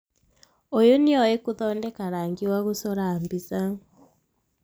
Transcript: ũyũ nĩoĩ gũthondeka rangi wa gũcora mbica